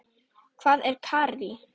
Hvað er karrí?